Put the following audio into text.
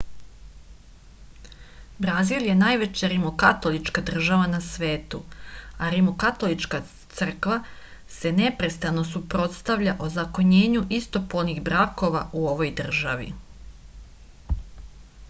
brazil je najveća rimokatolička država na svetu a rimokatolička crkva se neprestano suprotstavlja ozakonjenju istopolnih brakova u ovoj državi